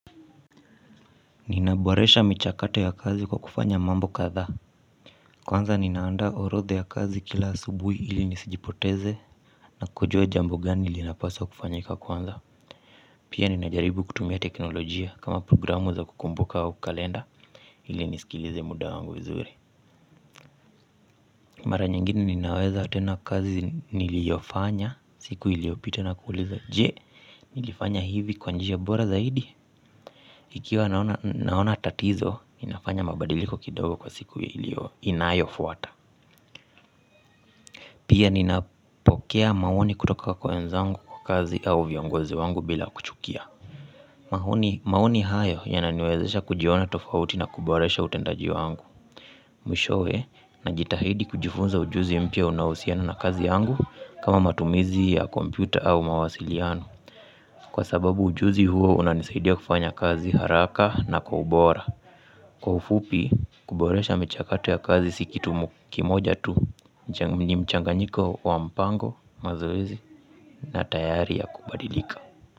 Ninaboresha michakato ya kazi kwa kufanya mambo kadha. Kwanza ninaanda orodha ya kazi kila asubuhi ili nisijipoteze. Na kujua jambo gani linapaswa kufanyika kwanza. Pia ninajaribu kutumia teknolojia kama programu za kukumbuka wa kukalenda ili nisikilize muda wangu vizuri. Mara nyingine ninaweza tena kazi niliofanya siku iliopita na kuuliza je nilifanya hivi kwa njia bora zaidi. Ikiwa naona tatizo, inafanya mabadiliko kidogo kwa siku ilio inayo fuwata. Pia ninapokea maoni kutoka kwa wenzangu kwa kazi au viongozi wangu bila kuchukia. Maoni hayo yananiwezesha kujiona tofauti na kuboresha utendaji wangu. Mwishowe najitahidi kujifunza ujuzi mpya unaohusiana na kazi yangu kama matumizi ya kompyuta au mawasiliano. Kwa sababu ujuzi huo unanisaidia kufanya kazi haraka na kwa ubora. Kwa ufupi kuboresha michakato ya kazi si kitu kimoja tu ni mchanganyiko wa mpango mazorezi na tayari ya kubadilika.